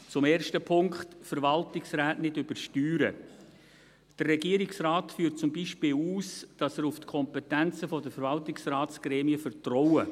Zum ersten Punkt, Verwaltungsräte nicht übersteuern: Der Regierungsrat führt zum Beispiel aus, dass er auf die Kompetenzen der Verwaltungsratsgremien vertraue.